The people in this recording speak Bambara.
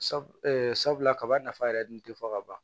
sabula kaba nafa yɛrɛ dun te fɔ ka ban